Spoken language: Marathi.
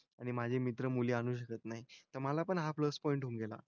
आणि माझे मित्र मुली आणू शकत नाही. तर मला पण हा प्लस पॉईंट होऊन गेला.